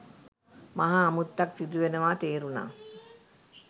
මහා අමුත්තක් සිදුවෙනවා තේරුනා.